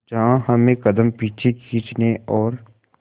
जहां हमें कदम पीछे खींचने और